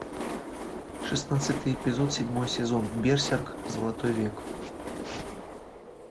шестнадцатый эпизод седьмой сезон берсерк золотой век